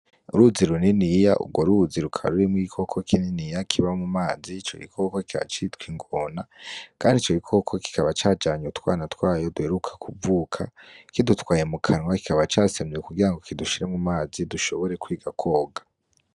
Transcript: Uruzi runiniya ugwo ruzi rukaba rurimwo igikoko kininiya kiba mu mazi ico gikoko kikaba citwa ingona, kandi ico gikoko kikaba cajanye utwana twayo duheruka kuvuka kidutwaye mu kanwa kikaba casamye kugirango kidushire mu mazi dushobore kwiga kwoga.